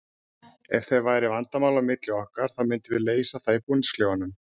Ef það væru vandamál á milli okkar þá myndum við leysa það í búningsklefanum.